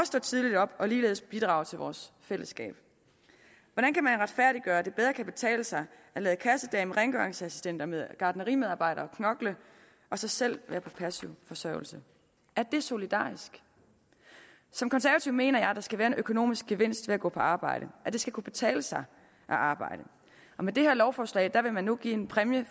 står tidligt op og ligeledes bidrager til vores fællesskab hvordan kan man retfærdiggøre at det bedre kan betale sig at lade kassedamen rengøringsassistenten og gartnerimedarbejderen knokle og så selv være på passiv forsørgelse er det solidarisk som konservativ mener jeg at der skal være en økonomisk gevinst ved at gå på arbejde at det skal kunne betale sig at arbejde med det her lovforslag vil man nu give en præmie